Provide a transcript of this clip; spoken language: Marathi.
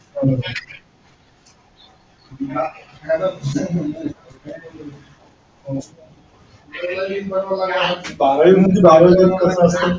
बारावीमध्ये बारावीला